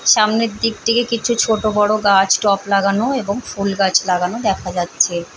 সামনের দিক থেকে কিছু ছোট বড় গাছ টব লাগানো এবং ফুল গাছ লাগানো দেখা যাচ্ছে।